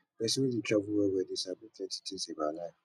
pesin wey dey travel wellwell dey sabi plenty tins about life